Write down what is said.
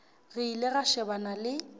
re ile ra shebana le